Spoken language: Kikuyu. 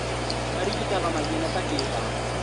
Marigitaga mathĩna ta kĩbaba